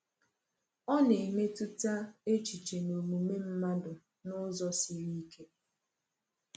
Ọ na-emetụta echiche na omume mmadụ n’ụzọ siri ike.